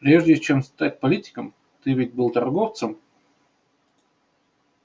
прежде чем стать политиком ты ведь был торговцем